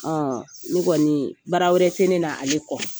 Ne kɔɔni baara wɛrɛ tɛ ne la ale kɔ.